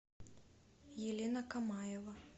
елена камаева